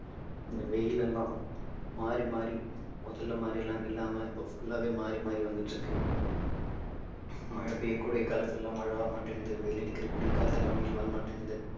இந்த வெயில் எல்லாம் மாறி மாறி முதல்ல மாதிரி எல்லாம் இல்லாம இப்போ full ஆவே மாறி மாறி வந்துட்டு இருக்கு மழை பெய்யக்கூடிய காலத்துலலாம் மழை வரமாட்டேங்குது வெயில் அடிக்கறதுக்கு கூட காலத்துலலாம் வெயில் வரமாட்டேங்குது